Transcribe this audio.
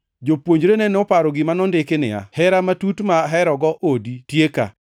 Jopuonjrene noparo gima nondiki niya, “Hera matut ma aherogo odi tieka.” + 2:17 \+xt Zab 69:9\+xt*